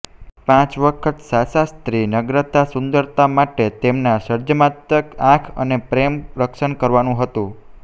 પાંચ વખત શાશા સ્ત્રી નગ્નતા સુંદરતા માટે તેમના સર્જનાત્મક આંખ અને પ્રેમ રક્ષણ કરવાનું હતું